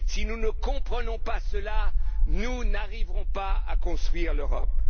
Si nous ne comprenons pas cela, nous n'arriverons pas à construire l'Europe!